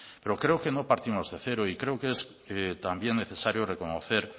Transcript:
pero creo que no partimos de cero y creo que también es necesario reconocer